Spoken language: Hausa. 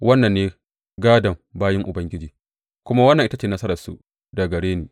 Wannan ne gādon bayin Ubangiji, kuma wannan ita ce nasararsu daga gare ni,